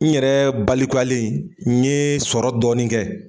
N yɛrɛ balikuyalen n yee sɔrɔ dɔɔnin kɛ